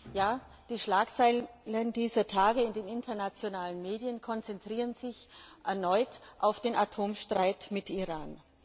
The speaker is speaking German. Ja, die Schlagzeilen dieser Tage in den internationalen Medien konzentrieren sich erneut auf den Atomstreit mit Iran.